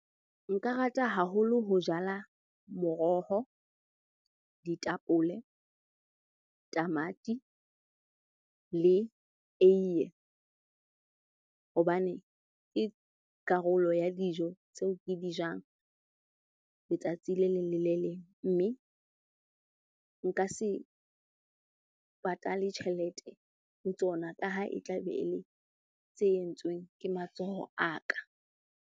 Nka rata haholo ho jala moroho, ditapole, tamati le eiye. Hobane ke karolo ya dijo tseo ke di jang letsatsi le leng le le leng. Mme nka se patale tjhelete ho tsona ka ha e tla be e le tse entsweng ke matsoho a ka.